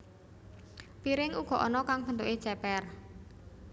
Piring uga ana kang bentuké cépér